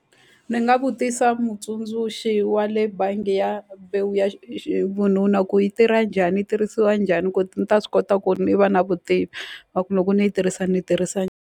Ni nga vutisa mutsundzuxi wa le bangi ya ya xi vununa ku yi tirha njhani ni yi tirhisiwa njhani ku ni ta swi kota ku ni va na vutivi na ku loko ni yi tirhisa ni yi tirhisa.